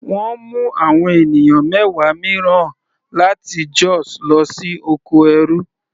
Wọ́n mú àwọn ènìyàn mẹwa mìíràn láti Jos lọ sí oko ẹrú.